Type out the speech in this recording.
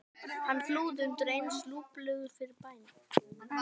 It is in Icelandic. Hann flúði undir eins lúpulegur upp fyrir bæinn.